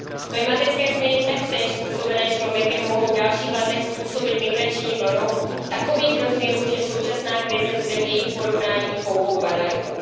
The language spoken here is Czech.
Klimatické změny taktéž způsobené člověkem mohou v dalších letech způsobit migrační vlnu takových rozměrů, že současná krize bude v jejím porovnání pouhou banalitou.